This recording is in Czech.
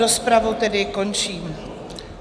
Rozpravu tedy končím.